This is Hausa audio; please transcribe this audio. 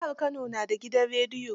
Jihar Kano na da gudan rediyo.